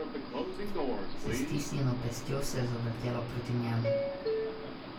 S stisnjeno pestjo se je zavrtela proti njemu.